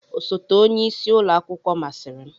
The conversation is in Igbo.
Osote onye isi ụlọ akwụkwọ masịrị m.